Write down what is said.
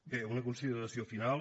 bé una consideració final